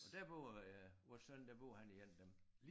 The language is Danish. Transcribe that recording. Og dér bor øh vores søn der bor han i 1 af dem